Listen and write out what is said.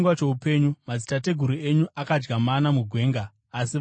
Madzitateguru enyu akadya mana mugwenga, asi vakafa.